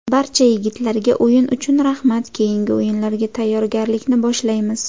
Barcha yigitlarga o‘yin uchun rahmat, keyingi o‘yinlarga tayyorgarlikni boshlaymiz.